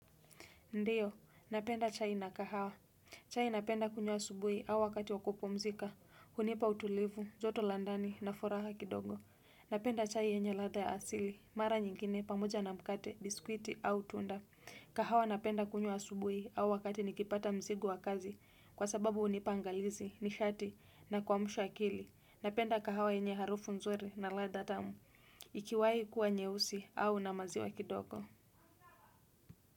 Ndiyo, napenda chai na kahawa. Chai napenda kunywa subui au wakati wa kupumzika, hunipa utulivu, joto la ndani na furaha kidogo. Napenda chai yenye ladha ya asili, mara nyingine pamoja na mkate, biskwiti au tunda. Kahawa napenda kunywa subui au wakati nikipata mzigo wa kazi kwa sababu hunipa angalizi, nishati na kuamsha akili. Napenda kahawa yenye harufu nzuri na ladha tamu, ikiwahi kuwa nyeusi au na maziwa kidogo.